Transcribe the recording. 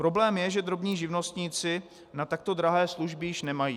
Problém je, že drobní živnostníci na takto drahé služby již nemají.